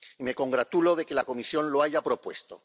Me congratulo de que la Comisión lo haya propuesto.